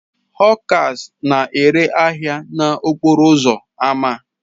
Họkas na-ere ahịa ha n'okporo ámá